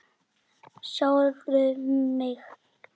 Herði sjálfa mig.